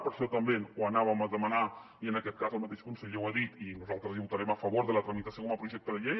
per això també ho anàvem a demanar i en aquest cas el mateix conseller ho ha dit i nosaltres votarem a favor de la tramitació com a projecte de llei